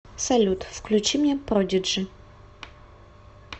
салют включи мне продиджи